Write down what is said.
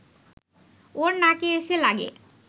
ওর নাকে এসে লাগে